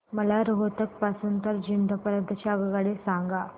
मला रोहतक पासून तर जिंद पर्यंत ची आगगाडी सांगा